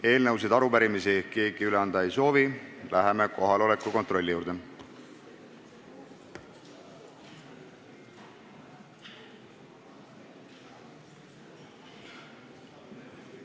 Eelnõusid ega arupärimisi keegi üle anda ei soovi, läheme kohaloleku kontrolli juurde.